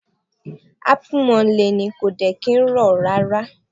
Apu maa n Le ni, ko de ki o ni ni ti o to rara